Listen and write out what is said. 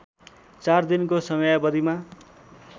चार दिनको समयावधिमा